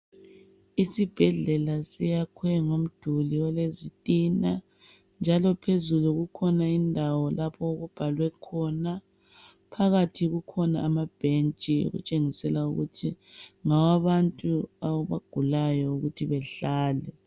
Isibhedlela siyakhwe ngomduli olezitina. Njalo phezulu kukhona indawo lapho okubhalwe khona. Phakathi kukhona amabhentshi. Okutshengisela ukuthi, ngawabanru abagulayo, ukuthi behlale.